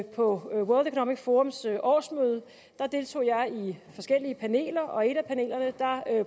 på world economic forums årsmøde deltog jeg i forskellige paneler og i et af panelerne